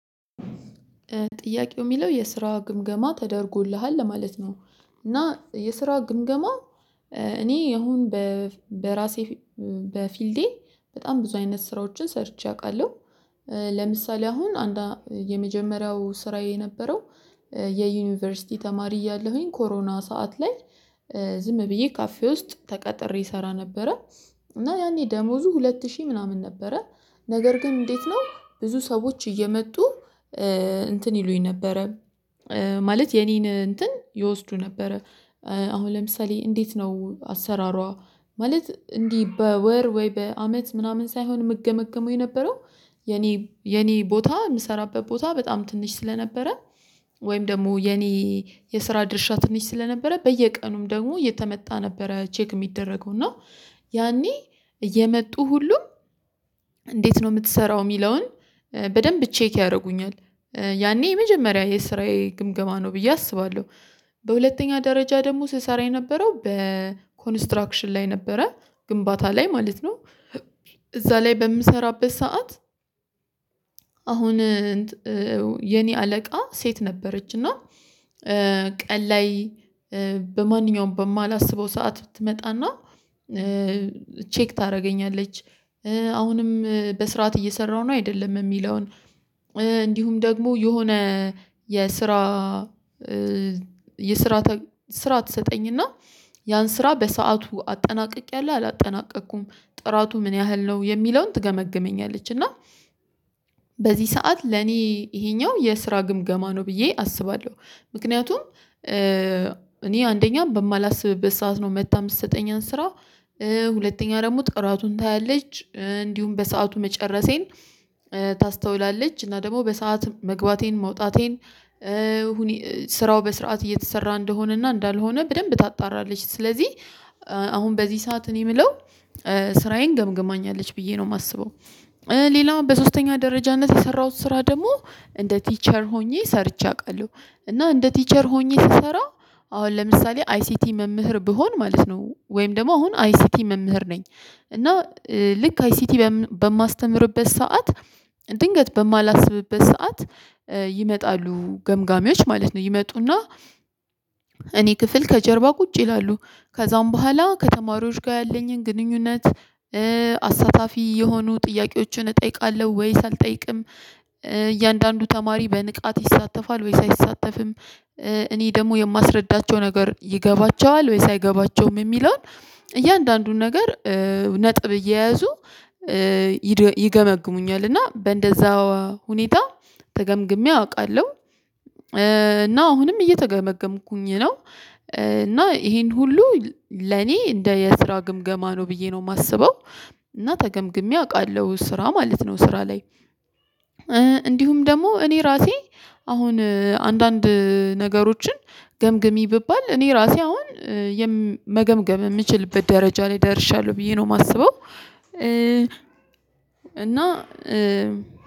ጥያቄው ሚለው የስራ ግምገማ ተደርጎልሃል ለማለት ነው። እና የስራ ግምገማ እኔ አሁን በራሴ በፊልዴ በጣም ብዙ አይነት ስራዎችን ሰርቼ አውቃለሁ። ለምሳሌ አሁን አንዳ የመጀመሪያው ስራዬ የነበረው የዩኒቨርሲቲ ተማሪ እያለሁኝ ኮሮና ሰዓት ላይ ዝም ብዬ ካፌ ውስጥ ተቀጥሬ እሰራ ነበረ። እና ያኔ ደሞዙ ሁለት ሺህ ምናምን ነበረ ነገር ግን እንዴት ነው ብዙ ሰዎች እየመጡ እንትን ይሉኝ ነበረ። ማለት የኔን እንትን ይወስዱ ነበረ። አሁን ለምሳሌ እንዴት ነው አሰራሯ ማለት እንዲህ በወር ወይ በአመት ምናምን ሳይሆን የምገመገመው የነበረው የኔ የኔ ቦታ የምሰራበት ቦታ በጣም ትንሽ ስለነበረ ወይም ደግሞ የኔ የስራ ድርሻ ትንሽ ስለነበረ በየቀኑም ደግሞ የተመጣ ነበረ ቼክ የሚደረገው እና ያኔ እየመጡ ሁሉ እንዴት ነው የምትሰራው የሚለውን በደንብ ቼክ ያደርጉኛል። ያኔ የመጀመሪያ የስራዬ ግምገማ ነው ብዬ አስባለሁ። በሁለተኛ ደረጃ ደግሞ ስሰራ የነበረው በኮንስትራክሽን ላይ ነበረ ግንባታ ላይ ማለት ነው እዛ ላይ በምሰራበት ሰዓት አሁን የኔ አለቃ ሴት ነበረች እና ቀን ላይ በማንኛውም በማላስበው ሰዓት ትመጣና ቼክ ታደርገኛለች። አሁንም በስርዓት እየሰራሁ ነው አይደለም የሚለውን እንዲሁም ደግሞ የሆነ የስራ የስራ ስራ ትሰጠኝ እና ያን ስራ በሰአቱ አጠናቅቄያለሁ አላጠናቀቅኩም ጥራቱ ምን ያህል ነው የሚለውን ትገመግመኛለች እና በዚህ ሰዓት ለኔ እሄኛው የስራ ግምገማ ነው ብዬ አስባለሁ። ምክንያቱም እኔ አንደኛ በማላስብበት ሰዓት ነው መታ ምሰጠኝን ስራ ሁለተኛ ደግሞ ጥራቱን ታያለች እንዲሁም በሰአቱ መጨረሴን ታስተውላለች እና ደግሞ በሰአት መግባቴን መውጣቴን ስራው በስርዓት እየተሰራ እንደሆነና እንዳልሆነ በደንብ ታጣራለች ስለዚህ አሁን በዚህ ሰዓት እኔ ምለው ስራዬን ገምግማኛለች ብዬ ነው የማስበው። ሌላው በሶስተኛ ደረጃነት የሰራሁት ስራ ደግሞ እንደ ቲቸር ሆኜ ሰርቼ አቃለሁ እና እንደ ቲቸር ሆኜ ስሰራ አሁን ለምሳሌ አይሲቲ መምህር ብሆን ማለት ነው ወይም ደግሞ አሁን አይሲቲ መምህር ነኝ። እና ልክ አይሲቲ በማስተምርበት ሰዓት ድንገት በማላስብበት ሰዓት ይመጣሉ ገምጋሚዎች ማለት ነው ይመጡና እኔ ክፍል ከጀርባ ቁጭ ይላሉ ከዛም በኋላ ከተማሪዎች ጋር ያለኝን ግንኙነት አሳታፊ የሆኑ ጥያቄዎችን እጠይቃለሁ ወይስ አልጠይቅም? እያንዳንዱ ተማሪ በንቃት ይሳተፋል ወይስ አይሳተፍም? እኔ ደግሞ የማስረዳቸው ነገር ይገባቸዋል ወይስ አይገባቸውም? የሚለውን እያንዳንዱን ነገር ነጥብ እየያዙ ይገመግሙኛል እና በእንደዛው ሁኔታ ተገምግሜ አቃለሁ። እና አሁንም እየተገመገምኩኝ ነው እና ይሄን ሁሉ ለኔ እንደ የስራ ግምገማ ነው ብዬ ነው የማስበው። እና ተገምግሜ አቃለሁ ስራ ማለት ነው ስራ ላይ እንዲሁም ደግሞ እኔ ራሴ አሁን አንዳንድ ነገሮችን ገምግሚ ብባል እኔ ራሴ አሁን መገምገም የምችልበት ደረጃ ላይ ደርሻለሁ ብዬ ነው ማስበው። እ እና